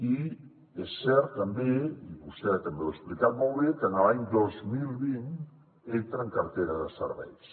i és cert també i vostè també ho ha explicat molt bé que l’any dos mil vint entra en cartera de serveis